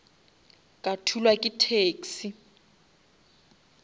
ka thulwa ke taxi